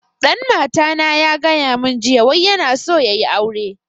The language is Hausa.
Dan mata na ya gaya mun jiya wai yana so ya yi aure